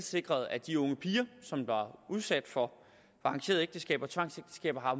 sikret at de unge piger som var udsat for arrangerede ægteskaber tvangsægteskaber har